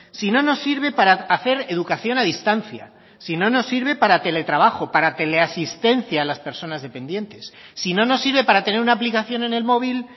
si no nos sirve para hacer educación a distancia si no nos sirve para teletrabajo para tele asistencia a las personas dependientes si no nos sirve para tener una aplicación en el móvil